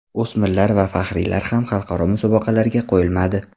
O‘smirlar va faxriylar ham xalqaro musobaqalarga qo‘yilmadi.